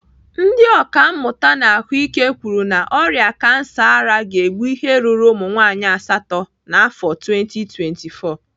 Ndị ọkàmmụta na ahụike kwuru na ọrịa kansa ara ga-egbu ihe ruru ụmụnwaanyị asatọ n'afọ 2024.